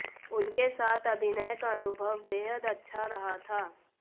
उनके साथ अभिनय का अनुभव बेहद अच्छा रहा था